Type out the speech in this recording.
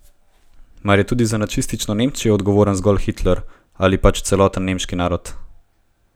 Mar je tudi za nacistično Nemčijo odgovoren zgolj Hitler ali pač celoten nemški narod?